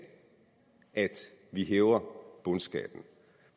at vi hæver bundskatten